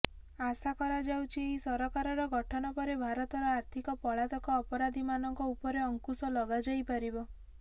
ଆଶା କରାଯାଉଛି ଏହି ସରକାରର ଗଠନପରେ ଭାରତର ଆର୍ଥୀକ ପଳାତକ ଅପରାଧିମାନଙ୍କ ଉପରେ ଅଙ୍କୁଶ ଲଗାଯାଇପାରିବ